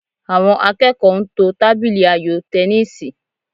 Àwọn akẹ́kọ̀ọ́ ń to tábìlì ayò tẹníìsì